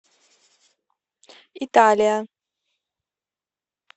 италия